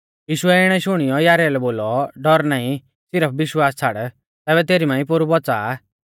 यीशुऐ इणै शुणियौ याईरा लै बोलौ डौर नाईं सिरफ विश्वास छ़ाड़ तैबै तेरी मांई पोरु बौच़ा आ